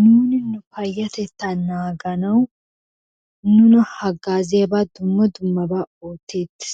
Nuuni nu payatettaa naaganawu nuna hagaazziyaba dumma dummabaa ooteettees,